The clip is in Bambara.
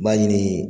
Baɲini